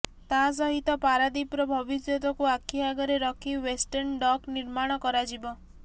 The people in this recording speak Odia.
ତା ସହିତ ପାରାଦୀପର ଭବିଷ୍ୟତକୁ ଆଖି ଆଗରେ ରଖି ୱେଷ୍ଟର୍ଣ୍ଣ ଡକ୍ ନିର୍ମାଣ କରାଯିବ